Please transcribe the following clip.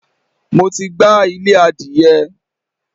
Mo ti gbá ilé adìyẹ.